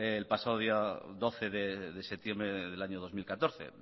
el pasado día doce de septiembre del año dos mil catorce